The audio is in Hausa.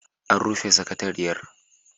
An rufe sakatariyar.